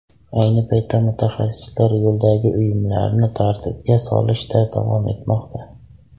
Ayni paytda mutaxassislar yo‘ldagi uyumlarni tartibga solishda davom etmoqda.